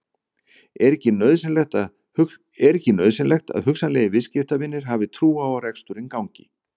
Er ekki nauðsynlegt að hugsanlegir viðskiptavinir hafi trú á að reksturinn gangi?